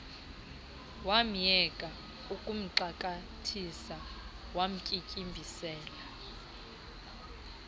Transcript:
wamyeka ukuxakathisa wamtyityimbisela